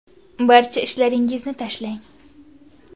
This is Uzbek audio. Barcha ishlaringizni tashlang.